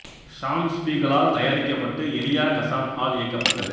சாம் Spiegel ஆல் தயாரிக்கப்பட்டு Elia Kazan ஆல் இயக்கப்பட்டது